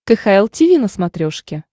кхл тиви на смотрешке